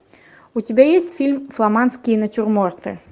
у тебя есть фильм фламандские натюрморты